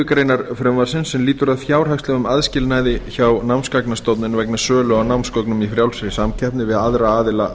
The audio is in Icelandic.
greinar frumvarpsins er lýtur að fjárhagslegum aðskilnaði hjá námsgagnastofnun vegna sölu á námsgögnum í frjálsri samkeppni við aðra aðila